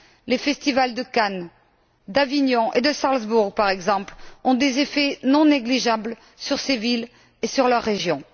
les festivals de Cannes, d'Avignon et de Salzbourg, par exemple, ont des effets non négligeables sur ces villes et sur leurs régions.